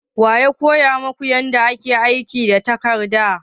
Wa ya koya maku yadda ake aiki da tarakta?